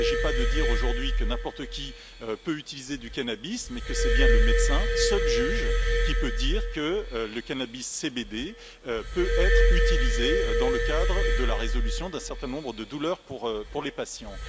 Il ne s'agit pas de dire aujourd'hui que n'importe qui peut utiliser du cannabis, mais que c'est bien le médecin, seul juge, qui peut dire que le cannabis CBD peut être utilisé dans le cadre de la résolution d'un certain nombre de douleurs pour les patients.